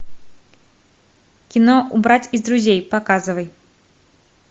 кино убрать из друзей показывай